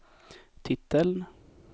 titeln